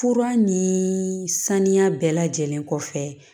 Fura ni saniya bɛɛ lajɛlen kɔfɛ